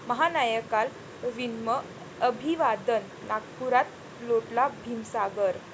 महानायकाला विनम्र अभिवादन, नागपुरात लोटला भीमसागर